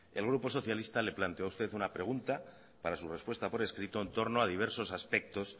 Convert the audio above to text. el grupo socialista le planteó a usted una pregunta para su respuesta por escrito en torno a diversos aspectos